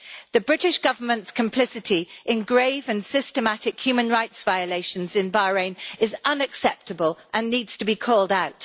The British Government's complicity in grave and systematic human rights violations in Bahrain is unacceptable and needs to be called out.